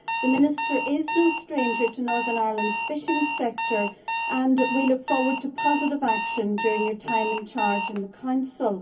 The Minister is no stranger to Northern Ireland's fishing sector and we look forward to positive action during his time in charge in the Council.